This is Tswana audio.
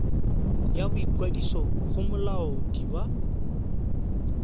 ya boikwadiso go molaodi wa